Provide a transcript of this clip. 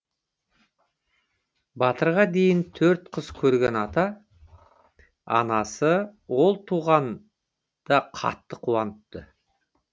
батырға дейін төрт қыз көрген ата анасы ол туғанда қатты қуаныпты